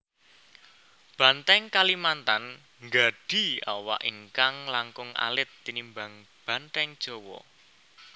Banteng Kalimantan nggadhi awak ingkang langkung alit tinimbang banteng Jawa